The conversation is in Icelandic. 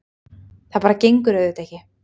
Það bara gengur auðvitað ekki.